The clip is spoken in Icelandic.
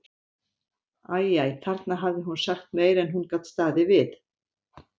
Æ, æ, þarna hafði hún sagt meira en hún gat staðið við.